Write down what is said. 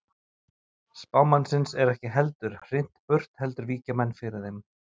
Spámannsins er ekki lengur hrint burt heldur víkja menn fyrir þeim.